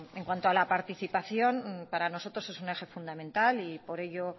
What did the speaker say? en cuanto a la participación para nosotros es un eje fundamental y por ello